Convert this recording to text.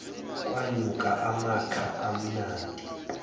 kwanuka amakha amnandi